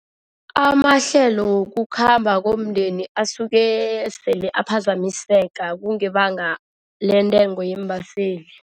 Amahlelo wokukhamba komndeni asuke sele aphazamiseka kungebanga lentengo yeembaseli.